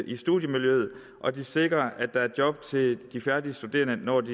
i studiemiljøet og de sikrer at der er job til de studerende når de